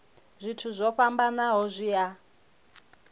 zwithu zwo fhambanaho zwi a